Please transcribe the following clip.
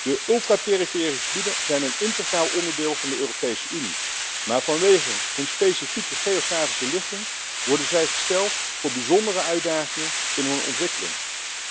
De ultra perifere gebieden zijn een integraal onderdeel van de Europese Unie, maar vanwege hun specifieke geografische ligging worden zij voor bijzondere uitdagingen in hun ontwikkeling gesteld.